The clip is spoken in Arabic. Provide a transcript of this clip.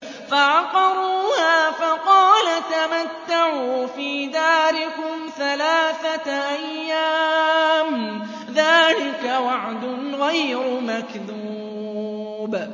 فَعَقَرُوهَا فَقَالَ تَمَتَّعُوا فِي دَارِكُمْ ثَلَاثَةَ أَيَّامٍ ۖ ذَٰلِكَ وَعْدٌ غَيْرُ مَكْذُوبٍ